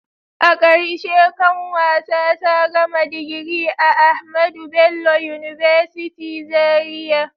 A karshe kanwata ta gama digiri a AHMADU BELLO UNIVERSITY Zaria.